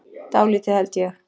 Dálítið, held ég.